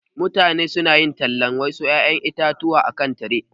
Mutane su na yin talan wasu ƴaƴan itatuwa a kan tire.